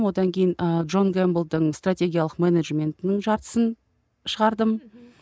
одан кейін ы джонн гэмблдің стратегиялық менеджментінің жартысын шығардым